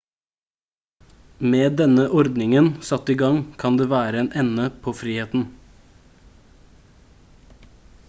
med denne ordningen satt i gang kan det være en ende på friheten